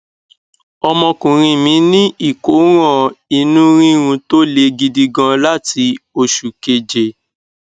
ọmọkùnrin mí ní ìkóràn inú rírun tó le gidi gan láti oṣù keje